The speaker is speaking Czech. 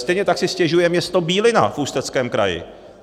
Stejně tak si stěžuje město Bílina v Ústeckém kraji.